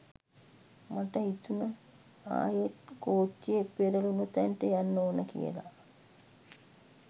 මට හිතුණ ආයෙත් කෝච්චිය පෙරලුණ තැනට යන්න ඕන කියල.